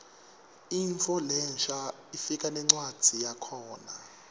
intfo lensha ifika nencwadzi yakhona